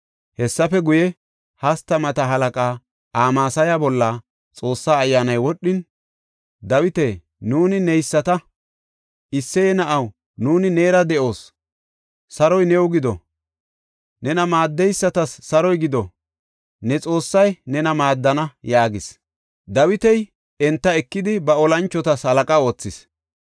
Hessafe guye, hastamata halaqa Amasaya bolla Xoossa Ayyaanay wodhin, “Dawita, nuuni neyisata! Isseye na7aw, nuuni neera de7oos! Saroy new gido! Nena maaddeysatas saroy gido! Ne Xoossay nena maaddana” yaagis. Dawiti enta ekidi ba olanchotas halaqa oothis.